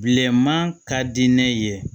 Bilenman ka di ne ye